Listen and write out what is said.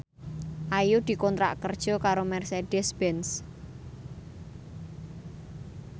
Ayu dikontrak kerja karo Mercedez Benz